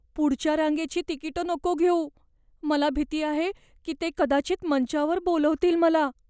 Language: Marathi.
पुढच्या रांगेची तिकीटं नको घेऊ. मला भीती आहे की ते कदाचित मंचावर बोलावतील मला.